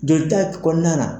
Joli ta kɔnɔna na.